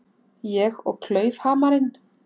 Ég og klaufhamarinn.